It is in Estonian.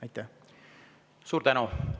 Suur tänu!